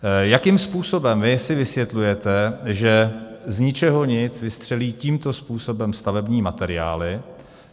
Jakým způsobem vy si vysvětlujete, že z ničeho nic vystřelí tímto způsobem stavební materiály?